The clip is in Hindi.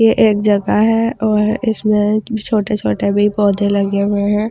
ये एक जगह है और इसमे छोटे छोटे भी पौधे लगे हुए है ।